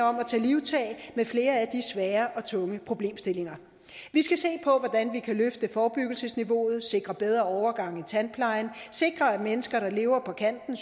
om at tage livtag med flere af de svære og tunge problemstillinger vi skal se på hvordan vi kan løfte forebyggelsesniveauet sikre bedre overgange i tandplejen sikre at mennesker der lever på kanten